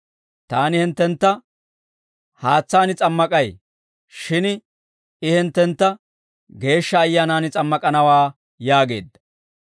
Taani hinttentta haatsaan s'ammak'ay; shin I hinttentta Geeshsha Ayyaanan s'ammak'anawaa» yaageedda.